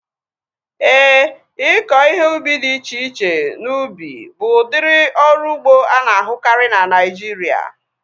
Éè, ịkọ ihe ubi dị iche iche n'ubi bụ udiri ọrụ ugbo ana-ahukari na Naijiria